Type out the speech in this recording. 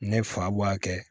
Ne fa b'a kɛ